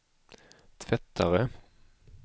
tvättare